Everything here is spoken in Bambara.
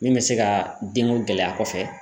Min bɛ se ka denko gɛlɛya kɔfɛ.